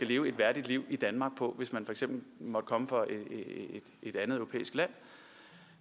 leve et værdigt liv i danmark hvis man for eksempel måtte komme fra et andet europæisk land